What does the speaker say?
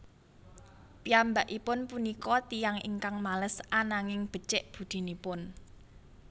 Piyambakipun punika tiyang ingkang males ananging becik budinipun